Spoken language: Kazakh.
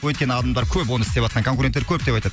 өйткені адамдар көп оны істеватқан конкуренттар көп деп айтады